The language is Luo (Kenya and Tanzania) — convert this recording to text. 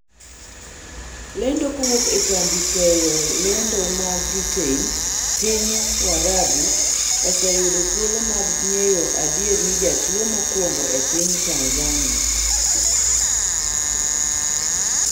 lendo kowuok e kambi keyp lendo ma britain, piny warabu oseyudo thuolo mar ng'eyo adier ni jatuo mokuongo e piny Tanzania